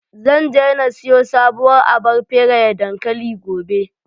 Zan je na siyo sabuwar abar feraye dankali, gobe.